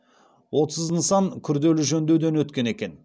отыз нысан күрделі жөндеуден өткен екен